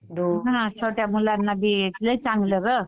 छोट्या मुलांना बी लय चांगलं गं.